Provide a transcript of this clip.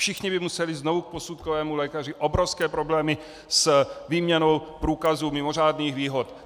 Všichni by museli znovu k posudkovému lékaři, obrovské problémy s výměnou průkazů mimořádných výhod.